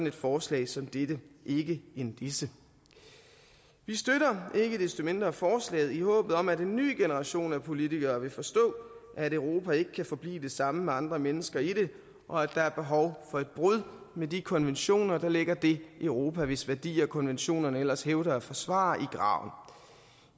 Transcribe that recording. et forslag som dette ikke en disse vi støtter ikke desto mindre forslaget i håbet om at en ny generation af politikere vil forstå at europa ikke kan forblive det samme med andre mennesker i det og at der er behov for et brud med de konventioner der lægger det europa hvis værdier konventionerne ellers hævder at forsvare i graven